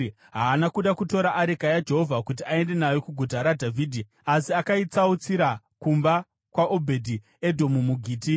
Haana kuda kutora areka yaJehovha kuti aende nayo kuGuta raDhavhidhi. Asi akaitsautsira kumba kwaObhedhi-Edhomu muGiti.